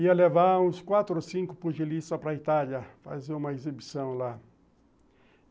ia levar uns quatro ou cinco pugilistas para a Itália, fazer uma exibição lá.